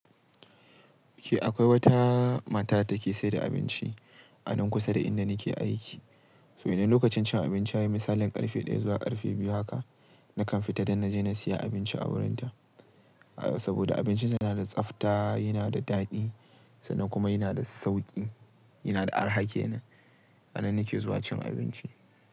Eh akwai wata mata datake sayar da abinci a nan kusa da inda nake aiki. Idan lokacin cin abinci yayi misalin karfe ɗaya zuwa karfe biyu haka, nakan fita don naje na siya abinci a wurinta. Saboda abincinta yana da tsafta, yana da daɗi sannan kuma yana da sauƙi, yana da arha kenan. Annan nake zuwa cin abinci.